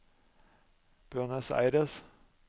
Buenos Aires